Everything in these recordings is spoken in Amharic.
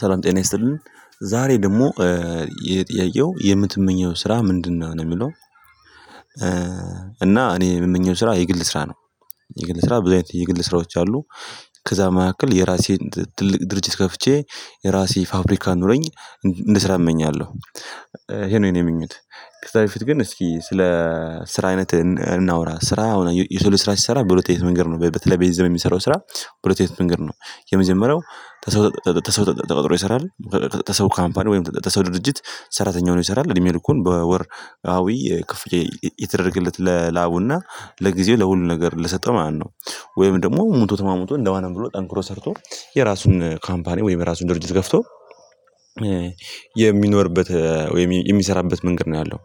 ሰላም ጤና ይስጥልን ዛሬ ደግሞ የጥያቄው የምትመኘው ስራ ምንድነው? የሚለው እና እኔ የምመኘው ስራ የግል ስራ ነው። የግል ስራ ብዙ አይነት የግል ስራዎች አሉ። ከዛ መካከል የራሴን ትልቅ ድርጅት ከፍቼ የራሴ ፋብሪካ ኑሮኝ እንድስራ እመኛለሁ። ይሄ ነው የኔ ምኞት። ከዛ በፊት ግን እስኪ ስለ ስራ አይነት እናውራ ስራ አሁን የሰው ልጅ ስራ ሲሰራ በሁሉት አይነት መንገድ ነው በተለይ በዚህ ዘመን የሚሰራው ስራ በሁለት አይነት መንገድ ነው። የመጀመሪያው ተሰው ተሰው ተቀጥሮ ይሰራል። ተሰው ካምፓኒ ወይም ተሰው ድርጅት ሰራተኛ ሆኖ ይሰራል እድሜ ልኩን በወር አዊ ክፍያ እየተደረገለት ለላቡና ለጊዜው ለሁሉ ነገር ለሰጠው ማለት ነው። ወይም ደግሞ ሙቶ ተማሙቶ እንደምንም ብሎ ጠንክሮ ሰርቶ የራሱን ካምፓኒ ወይም የራሱን ድርጅት ከፍቶ የሚኖርበት ወይም የሚሰራበት መንገድ ነው ያለው።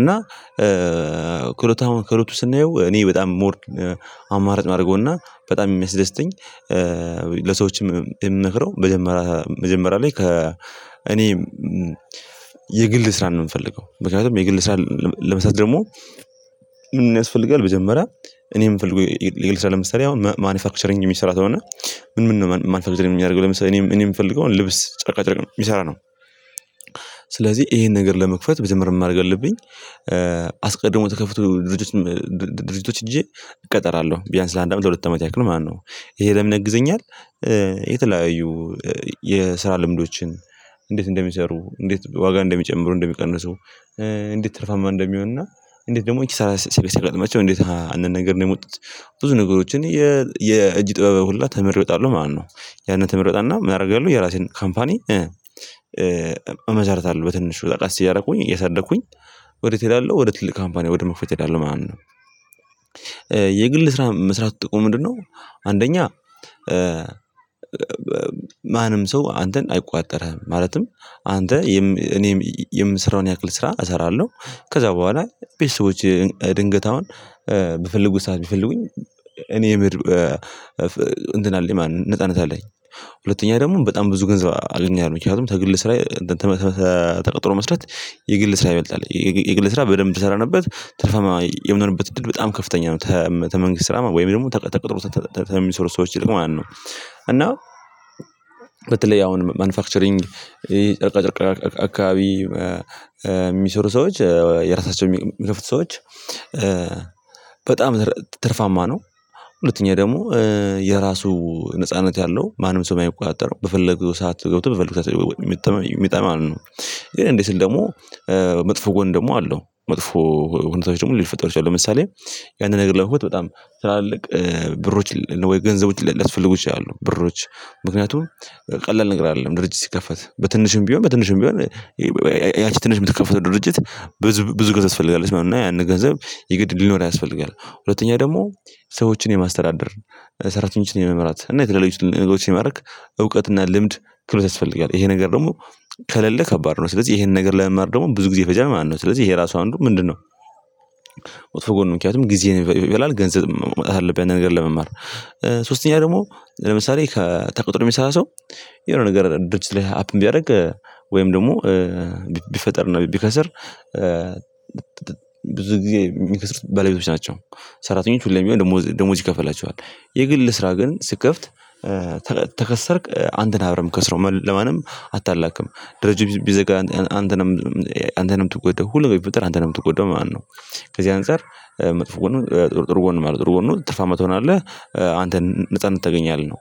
እና ክሎታውን ክሎቱ ስናየው እኔ በጣም ሞር አማራጭ የማደርገውና በጣም የሚያስደስተኝ ለሰዎችም የምምክረው መጀመሪያ መጀመሪያ ላይ ከ እኔ የግል ስራ ነው የምፈልገው። ምክንያቱም የግል ስራ ለመስራት ደግሞ ምን ያስፈልጋል? መጀመርያ እኔ እምፈልገው የእልሻ ለመስራት አሁን ማኑፋክቸሪንግ የሚሰራ ከሆነ ምን ምን ነው ማልፈልግ የሚያደርገው ለምሳሌ እኔም እኔ የምፈልገውን ልብስ ጨርቃ ጨርቅ ነው የሚሰራ ነው። ስለዚህ ይሄን ነገር ለመክፈት መጀመርያ ምን ማድረግ አለብኝ? አስቀድሞ ተከፍቶ ድርጅቶች ድርጅቶች ሄጄ እቀጠራለሁ ቢያንስ ለአንድ አመት ለሁለት አመት ያክል ማለት ነው። ይሄ ለምን ያግዘኛል? የተለያዩ የስራ ልምዶችን እንዴት እንደሚሰሩ እንዴት ዋጋ እንደሚጨምሩ እንደሚቀንሱ እንዴት ትርፋማ እንደሚሆን እና እንዴት ደግሞ እንኪ ሰላሳ እንዴት ሀ አንድ ነገር ነው የሚያመጡት። ብዙ ነገሮችን የእጅ ጠበብ ሁላ ተምሬ እወጣለሁ ማለት ነው። ያንን ተምሬ እወጣና ምን አደርጋሉ የራሴን ካምፓኒ እመሰርታለሀ በትንሹ ቀስ እያደረኩኝ እያሳደኩኝ ወዴት እሄዳለሁ ወዴት ትልቅ ካምፓኒ ወደ መክፈት እሄዳለሁ ማለት ነው። የግል ስራ መስራት ጥቁም ምንድነው? አንደኛ ማንም ሰው አንተን አይቆጣጠርህም። ማለትም አንተ እኔም የምሰራውን ያክል ስራ እሰራለሁ። ከዛ በኋላ ቤተሰቦቼ ድንገት አሁን በፈልጉት ሰዓት ብፈልጉኝ እኔ እንትን አለኝ ማለት ነው ነጻነት አለኝ። ሁለተኛ ደግሞ በጣም ብዙ ገንዘብ አገኛለው ምክንያቱም ተግል ስራ ተቀጥሮ መስራት የግል ስራ ይበልጣል የግል ስራ በደንብ ተሰራንበት ትርፋማ የምንሆንበት ድርጅት በጣም ከፍተኛ ነው ተመንግስት ስራ ወይም ደግሞ ተቀጥሮ ተሚሰሩ ሰዎች ይልቅ ማለት ነው። እና በተለይ አሁን ማኑፋክቸሪንግ ይሄ ጨርቃ ጨርቃ አካባቢ የሚሰሩ ሰዎች የራሳቸው የሚከፍቱ ሰዎች በጣም ትርፋማ ነው። ሁለተኛ ደግሞ የራሱ ነጻነት ያለው ማንም ሰው የማይቆጣጠረው በፈለገው ሰዓት ገብቶ በፈለገው ሰዓት የሚወጣ ማለት ነው። ግን እንዴ ስል ደግሞ መጥፎ ጎን ደግሞ አለው መጥፎ ሁኔታዎች ደግሞ ሊፈጠሩት ይችላሉ። ለምሳሌ ያንን ነገር ለመሆጥ በጣም ትላልቅ ብሮች ወይ ገንዘቦች ሊያስፈልጉ ይችላሉ። አሉ ብሮች ምክንያቱም ቀላል ነገር አይደለም ድርጅት ሲከፈት በትንሹም ቢሆን በትንሹም ቢሆን ያቺ ትንሽ የምትከፍተው ድርጅት ብዙ ብዙ ገንዘብ ትፈልጋለች እና ያንን ገንዘብ የግድ ሊኖር ያስፈልጋል። ሁለተኛ ደግሞ ሰዎችን የማስተዳደር ሰራተኞችን የመምራት እና የትልልቅ ነገሮች የማረግ እውቀት እና ልምድ ክህሎት ያስፈልጋል። ይሄ ነገር ደግሞ ከሌለ ከባድ ነው ስለዚህ ይሄን ነገር ለመማር ደግሞ ብዙ ጊዜ ይፈጃል ማለት ነው። ስለዚህ ይሄ ራሱ አንዱ ምንድነው? ወጥፎ ጎን ምክንያቱም ጊዜን ይበላል ገንዘብ መዉጣት አለብን ያንን ነገር ለመማር ሶስተኛ ደግሞ ለምሳሌ ከተቀጥሮ የሚሰራ ሰው የሆነ ነገር ድርጅት ላይ አፕን ቢያደርግ ወይም ደግሞ ቢፈጠር ነው ቢከስር ብዙ ጊዜ የሚከስሩት ባለቤቶች ናቸው። ሰራተኞች ሁሌም ቢሆን ደሞዝ ይከፈላቸዋል። የግል ስራ ግን ስከፍት ተከሰርክ አንተነህ አብረህ እምከስረው ለማንም አታላክም ድርጅት ቢዘጋ አንተ ነህ እምትጎዳው ሁሉም ቢፈጠር አንተ ነህ እትጎዳው ማለት ነው። ከዚህ አንፃር መጥፎ ጎን ጥሩ ጎን አለው ጥሩ ጎን ትርፋማ ትርፋማ ትሆናለህ አንተን ነጻነት ታገኛለህ ነው።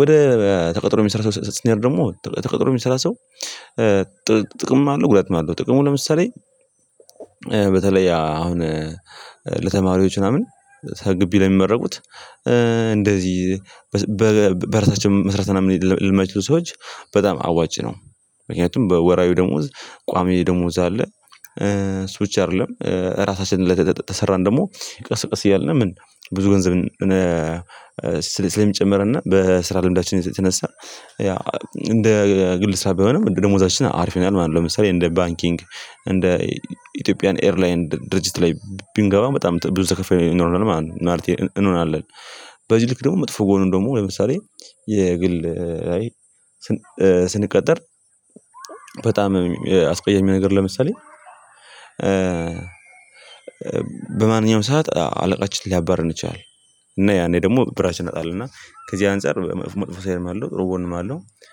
ወደ ተቀጥሮ የሚሰራ ሰው ስንሄድ ደግሞ ተቀጥሮ የሚሰራ ሰው ጥቅምም አለው ጉዳትም አለው። ጥቅሙ ለምሳሌ በተለይ አሁን ለተማሪዎች ምናምን ግቢ ላይ የሚመረቁት እንደዚህ በራሳችን መስራት ምናምን ለማይችሉ ሰዎች በጣም አዋጭ ነው ምክንያቱም በወራዊ ደሞዝ ቋሚ ደሞዝ አለ። እሱ ብቻ አይደለም ራሳችንን ለተሰራን ደግሞ ቀስቀስ እያልን ምን ብዙ ገንዘብ ስለሚጨምርና በስራ ልምዳችን የተነሳ ያ እንደ ግል ስራ ባይሆንም እንደ ደሞዛችን አሪፍ ይሆናል ማለት ነው። ለምሳሌ እንደ ባንኪንግ እንደ ኢትዮጵያን ኤርላይን ድርጅት ላይ ብንገባ በጣም ብዙ ተከፍይ ኖርለን ማለት እንሆናለን። በዚህ ልክ ደግሞ መጥፎ ጎን ደግሞ ለምሳሌ የግል ላይ ስንቀጠር በጣም አስቀየሚ ነገር ለምሳሌ በማንኛውም ሰዓት አለቃችን ሊያባርረን ይችላል። እና ያኔ ደግሞ ብራችን እናጣለን እና ከዚህ አንፃር መጥፎ ሳይድም አለው ጥሩ ጎንም አለው።